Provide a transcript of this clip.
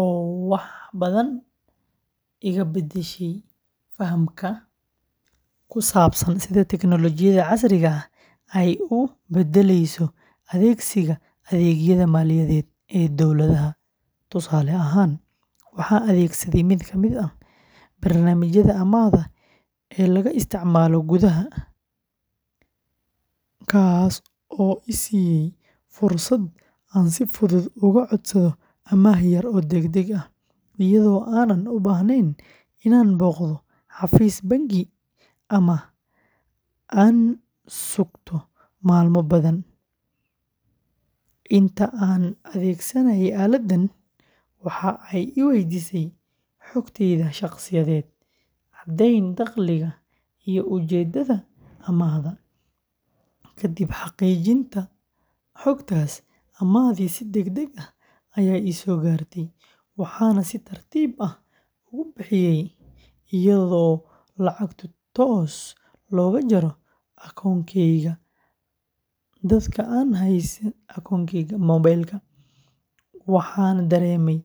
oo wax badan iga beddeshay fahamkayga ku saabsan sida teknoolojiyadda casriga ah ay u beddelayso adeegsiga adeegyada maaliyadeed ee dadweynaha. Tusaale ahaan, waxaan adeegsaday mid ka mid ah barnaamijyada amaahda ee laga isticmaalo gudaha, kaas oo i siiyay fursad aan si fudud uga codsado amaah yar oo degdeg ah, iyadoo aanan u baahnayn inaan booqdo xafiis bangi ama aan sugto maalmo badan. Inta aan adeegsanayay aaladdan, waxa ay i weydiisay xogtayda shakhsiyeed, caddeyn dakhliga, iyo ujeedada amaahda. Kadib xaqiijinta xogtaas, amaahdii si degdeg ah ayay ii soo gaartay, waxaana si tartiib ah uga bixinayay iyadoo lacagtu toos looga jaro akoonkayga moobilka. Waxaan dareemay in adeegyada.